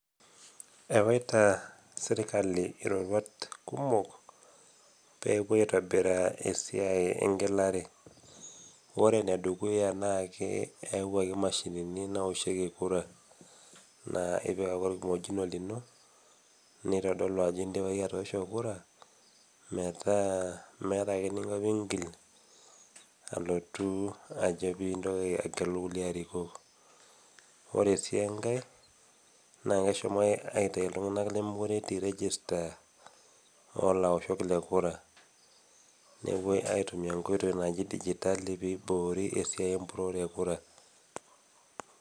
Ewaita serkali iroruat kumok, peepuoi aitobiraa esiai e eng'elare. Ore ene dukuya naa eyawuaki imashinini naoshieki inkurai naa ipik ake olkimojino lino neitodolu ajo indipa iyie atoosho kura, neaku meata eninko pee intoki agelu kulie arikok. Ore sii enkai naa keahomoki aitayu iltung'ana lemekure etii register o laoshok le kura nepuoi aitumia inkoitoi naaji digitali pee eiboori esiai empurore e kura.